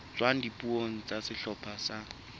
tswang dipuong tsa sehlopha sa